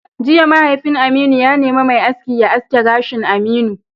Jiya, mahaifin Aminu ya nemi mai aski ya aske gashin Aminu!